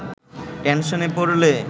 টেনশনে পড়লে